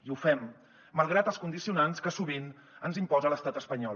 i ho fem malgrat els condicionants que sovint ens imposa l’estat espanyol